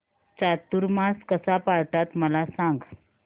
चातुर्मास कसा पाळतात मला सांग